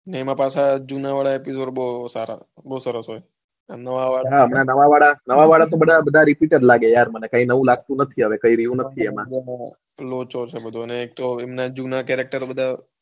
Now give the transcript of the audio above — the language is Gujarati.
એમાં પાછા જુના વાળા episode બૌ સારા બૌ સરસ હોય નવા વાળા તો બધા repeater લાગે છે યાર મને કઈ નવું લાગતું નથી કઈ રયુ નથી હવે એમાં ઉહ લોચો છે બધો ને એકતો એમના character બધા,